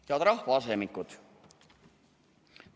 Head rahvaasemikud!